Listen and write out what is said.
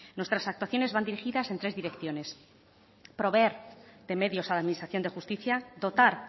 nuestras actuaciones van dirigidas en tres direcciones proveer de medios a la administración de justicia dotar